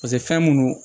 Paseke fɛn minnu